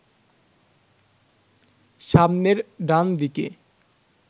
সামনের ডান দিকে